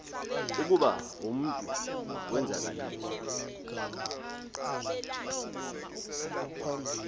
ukuba umntu wenzakaliswa